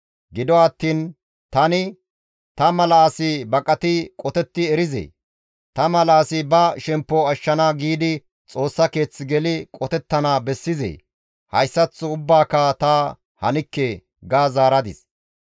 Gido attiin tani, «Ta mala asi baqati qotetti erizee? Ta mala asi ba shemppo ashshana giidi Xoossa keeth geli qotettana bessizee? Hayssaththo ubbaaka ta hanikke!» ga zaaradis.